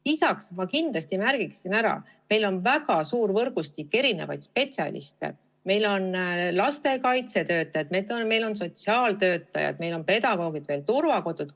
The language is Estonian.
Lisaks märgiksin ma kindlasti ära, et meil on väga suur võrgustik mitmesuguseid spetsialiste: meil on lastekaitsetöötajad, meil on sotsiaaltöötajad, meil on pedagoogid, meil on turvakodud.